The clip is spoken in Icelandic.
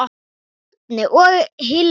Birna og Hilmar.